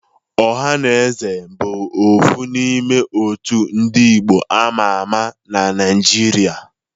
Ohanaeze bụ ofu n'ime òtù ndị Igbo ámá ámá na Naịjirịa.